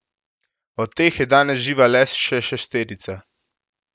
Od teh je danes živa le še šesterica!